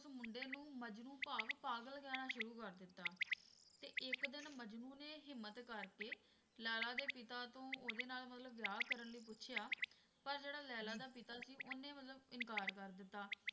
ਉਸ ਮੁੰਡੇ ਨੂੰ ਮਜਨੂੰ ਭਾਵ ਪਾਗਲ ਕਹਿਣਾ ਸ਼ੁਰੂ ਕਰ ਦਿੱਤਾ ਤੇ ਇੱਕ ਦਿਨ ਮਜਨੂੰ ਨੇ ਹਿੰਮਤ ਕਰਕੇ ਲੈਲਾ ਦੇ ਪਿਤਾ ਤੋਂ ਉਹਦੇ ਨਾਲ ਮਤਲਬ ਵਿਆਹ ਕਰਨ ਲਈ ਪੁੱਛਿਆ ਪਰ ਜਿਹੜਾ ਲੈਲਾ ਦਾ ਪਿਤਾ ਸੀ ਉਹਨੇ ਮਤਲਬ ਇਨਕਾਰ ਕਰ ਦਿੱਤਾ